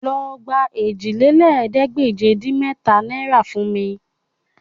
Lọ gba òjìlélẹ́ẹ̀ẹ́dégbèje-dín-mẹ́ta náìrà fún mi